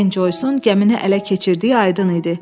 Ben Joysun gəmini ələ keçirdiyi aydın idi.